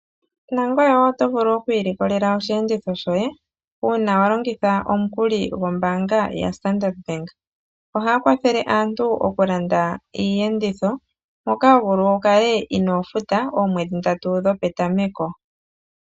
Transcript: Nangoye oto vulu okwiilikolela osheenditho shoye uuna walongitha omukuli gombaanga ya Standard bank. Ohaya kwathele aantu okulanda iiyenditho, to vulu wukale inoofuta oomwedhi ndatu dhopetameko.